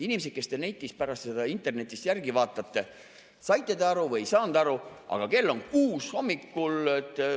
Inimesed, kes te pärast seda internetist järele vaatate, saite te aru või ei saanud aru, aga kell on kuus hommikul.